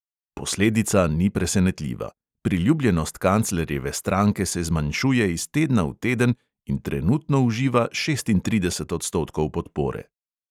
Posledica ni presenetljiva: priljubljenost kanclerjeve stranke se zmanjšuje iz tedna v teden in trenutno uživa šestintrideset odstotkov podpore.